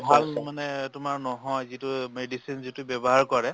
ভাল মানে তোমাৰ নহয়, যিটো ব্য়ৱহাৰ কৰে